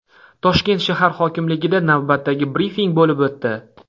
Toshkent shahar hokimligida navbatdagi brifing bo‘lib o‘tdi.